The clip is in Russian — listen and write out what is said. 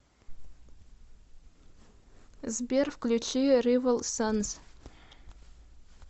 сбер включи ривал санс